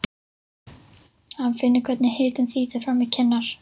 Hann finnur hvernig hitinn þýtur fram í kinnar.